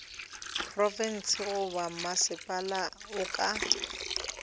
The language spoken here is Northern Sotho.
profense goba mmasepala o ka